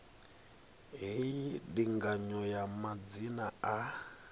hei ndinganyo ya madzina a